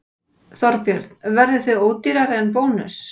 Þorbjörn: Verðið þið ódýrari en Bónus?